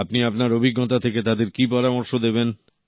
আপনি আপনার অভিজ্ঞতা থেকে তাঁদের কি পরামর্শ দেবেন